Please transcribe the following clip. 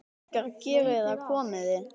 Krakkar geriði það komiði!